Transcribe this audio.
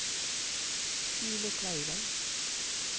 Stine Kleiven